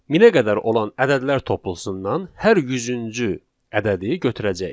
Minə qədər olan ədədlər toplusundan hər 100-cü ədədi götürəcəyik.